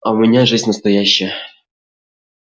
а у меня жизнь настоящая